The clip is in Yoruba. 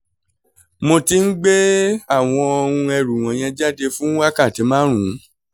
mo ti ń gbé àwọn um ẹrù wọ̀nyẹn jáde fún wákàtí márùn-ún